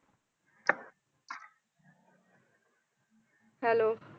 Hello